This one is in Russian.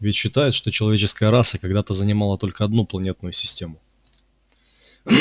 ведь считают что человеческая раса когда-то занимала только одну планетную систему